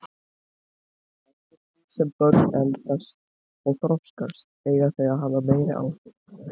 Eftir því sem börn eldast og þroskast eiga þau að hafa meiri áhrif.